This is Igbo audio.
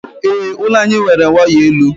Ee, ụlọ anyị nwere waya elu.